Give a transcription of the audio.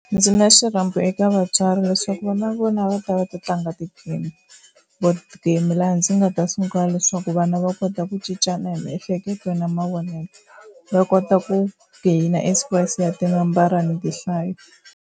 Ndzi na xirhambo eka vatswari leswaku va na vona va ta va ti tlanga ti-game, board game laha ndzi nga ta sungula leswaku vana va kota ku cincana hi miehleketo na mavonelo va kota ku gain experience ya tinambara ni tihlayo.